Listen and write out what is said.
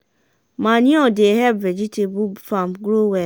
manure dey help vegetable farm grow well.